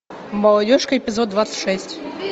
молодежка эпизод двадцать шесть